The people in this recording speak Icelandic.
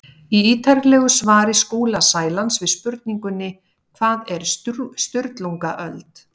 Í ítarlegu svari Skúla Sælands við spurningunni Hvað var Sturlungaöld?